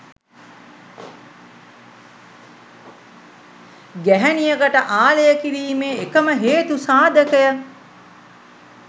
ගැහැණියකට ආලය කිරීමේ එකම හේතු සාධකය